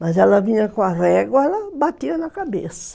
Mas ela vinha com a régua, ela batia na cabeça.